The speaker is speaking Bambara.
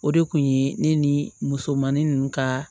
O de kun ye ne ni musomannin ninnu ka